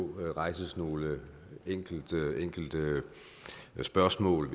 rejses nogle enkelte spørgsmål